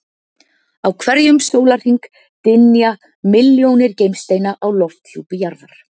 Á hverjum sólarhring dynja milljónir geimsteina á lofthjúpi jarðar.